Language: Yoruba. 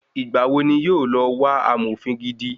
Igbàwo ni wọ́n yóò lọ wá amòfin gidi?